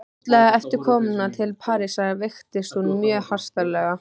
Fljótlega eftir komuna til Parísar veiktist hún mjög hastarlega.